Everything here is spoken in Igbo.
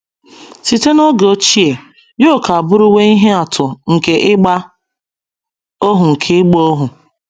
Site n’oge ochie, yoke abụrụwo ihe atụ nke ịgba ohu nke ịgba ohu.